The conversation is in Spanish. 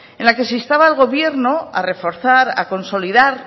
en la que se instaba al gobierno a reforzar a consolidar